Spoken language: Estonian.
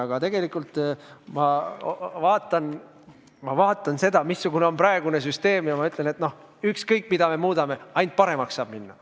Aga tegelikult ma vaatan seda, missugune on praegune süsteem, ja ütlen, et ükskõik mida me muudame, ainult paremaks saab minna.